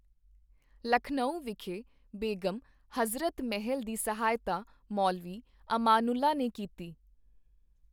ਲਖਨਊ ਵਿਖੇ ਬੇਗਮ ਹਜ਼ਰਤ ਮਹਿਲ ਦੀ ਸਹਾਇਤਾ ਮੌਲਵੀ ਅਮਾਨੁੱਲਾ ਨੇ ਕੀਤੀ।